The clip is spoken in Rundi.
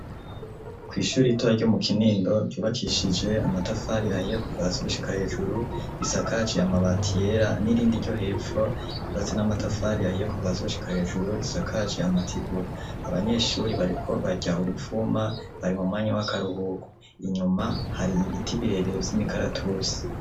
Kw'ishuri ritoya ryo mu kinindo ryubakishije amatafari ahiye kuva hasi gushika hejuru risakaje amabati yera, n'irindi ryo hepfo ryubatse n'amatafari ahiye kuva hasi gushika hejuru risakaje amatigura, abanyeshuri bariko barya uruvuma bari mu mwanya w'akaruhuku, inyuma hari ibiti birebere vy'imikaratusi.